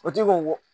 O ti ko